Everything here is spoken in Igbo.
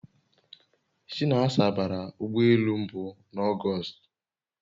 Chinasa bara ụgbọ elu mbu na August